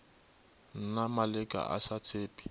mna maleka a sa tshepe